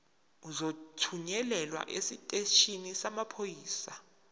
uzothunyelwa esiteshini samaphoyisa